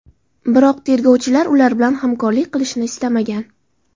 Biroq tergovchilar ular bilan hamkorlik qilishni istamagan.